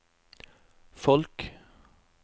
folk